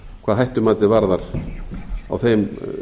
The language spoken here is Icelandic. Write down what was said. hvað hættumatið varðar á þeim